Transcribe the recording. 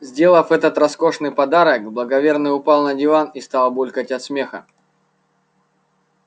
сделав этот роскошный подарок благоверный упал на диван и стал булькать от смеха